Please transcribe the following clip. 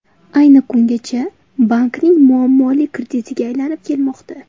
Ayni kungacha bankning muammoli kreditiga aylanib kelmoqda.